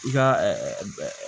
I ka